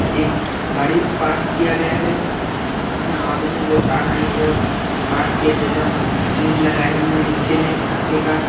एक गाड़ी पार्क किया गया है यहाँ आदमी दो चार है यह पार्क की जगह में ईट लगाए हुए है पक्के का--